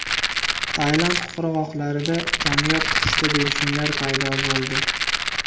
Tailand qirg‘oqlarida kamyob pushti delfinlar paydo bo‘ldi.